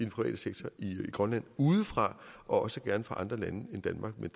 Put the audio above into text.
private sektor i grønland udefra og også gerne fra andre lande end danmark men